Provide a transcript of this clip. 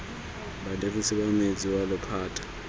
badirisi ba metsi wa lephata